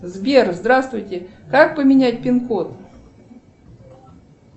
сбер здравствуйте как поменять пин код